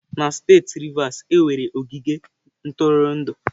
Na steeti Rivers, e nwere ogige ntụrụndụ.